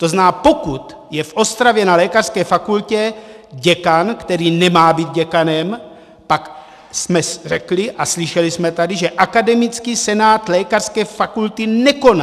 To znamená, pokud je v Ostravě na lékařské fakultě děkan, který nemá být děkanem, pak jsme řekli a slyšeli jsme tady, že akademický senát lékařské fakulty nekoná.